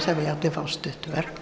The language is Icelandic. það vilja allir fá stutt verk